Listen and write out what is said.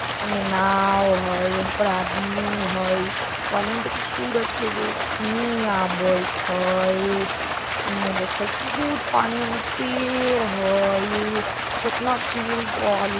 उन्ने नाव हई ओह पार आदमी हई पानी में दिख सूरज के रोशनी आवित हई एन्ने देखत बहुत पानी ओने पेड़ हई केतना पेड़ बा ली --